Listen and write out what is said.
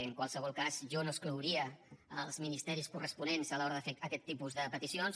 en qualsevol cas jo no exclouria els ministeris corresponents a l’hora de fer aquest tipus de peticions